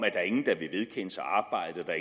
at der